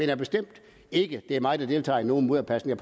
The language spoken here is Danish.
jeg bestemt ikke at det er mig der deltager i nogen mudderkastning